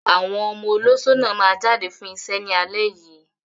Àwọn ọmọ olóṣó náà máa jáde fún iṣẹ́ ní alẹ́ yìí.